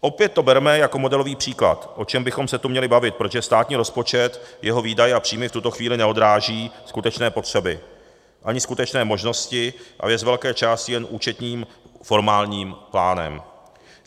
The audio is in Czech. Opět to bereme jako modelový příklad, o čem bychom se tu měli bavit, protože státní rozpočet, jeho výdaje a příjmy v tuto chvíli neodráží skutečné potřeby ani skutečné možnosti a je z velké části jen účetním formálním plánem.